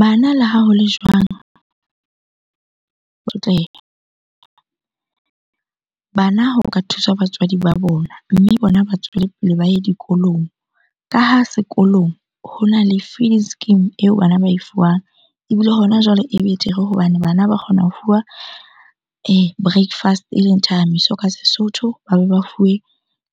Bana le ha ho le jwang? Bana ho ka thuswa batswadi ba bona, mme bona ba tswele pele ba ye dikolong. Ka ha sekolong hona le feeding scheme eo bana ba e fuwang. Ebile hona jwale e betere hobane bana ba kgona ho fuwa breakfast eleng thathameso ka Sesotho, ba be ba fuwe